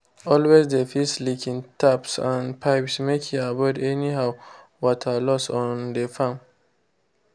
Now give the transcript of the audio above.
always dey fix leaking taps and pipes make e avoid anyhow water loss on dey farm.